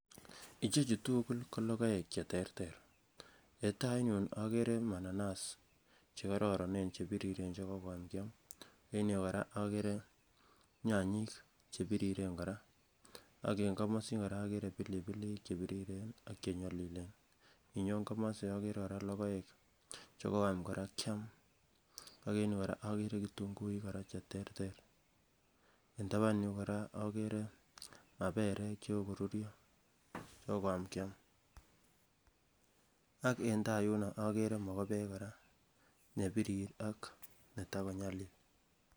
ichechu tugul kologoek cheterter en tai yun okere mananas chekororonen chebiriren chekokoam kiam en yuu kora okere nyanyik chebiriren kora ak en komosin kora okere pilipilik chebiriren ak chenyolilen , inyon komosi okere kora logoek chekoyam kora kiam ak en yu kora okere kitunguik kora cheterter en taban yu kora okere maperek chekoruryo chekokoam kiam ak en taa yuno okere mogobek kora nebirir ak netakonyalil